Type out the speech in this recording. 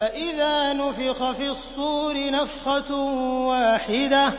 فَإِذَا نُفِخَ فِي الصُّورِ نَفْخَةٌ وَاحِدَةٌ